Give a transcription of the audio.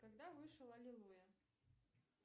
когда вышел аллилуйя